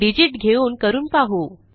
digit घेऊन करून पाहू